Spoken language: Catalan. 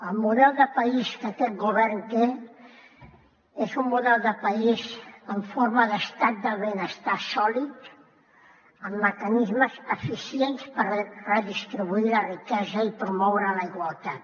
el model de país que aquest govern té és un model de país en forma d’estat del benestar sòlid amb mecanismes eficients per redistribuir la riquesa i promoure la igualtat